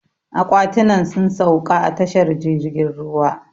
Aƙwatinan sun sauƙa a tashar jirgin ruwa.